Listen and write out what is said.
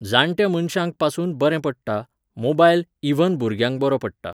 जाणट्या मनश्यांकपासून बरें पडटा, मोबायल इव्हन भुरग्यांक बरो पडटा.